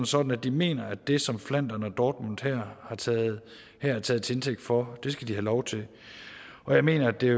sådan at de mener at det som flandern og dortmund her er taget til indtægt for skal de have lov til og jeg mener at det